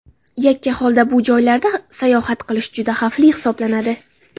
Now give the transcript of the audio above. Yakka holda bu joylarda sayohat qilish juda xavfli hisoblanadi.